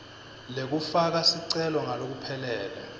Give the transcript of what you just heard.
lekufaka sicelo ngalokuphelele